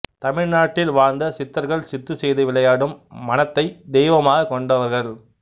தமிழ்நாட்டில் வாழ்ந்த சித்தர்கள் சித்து செய்து விளையாடும் மனத்தைத் தெய்வமாகக் கொண்டவர்கள்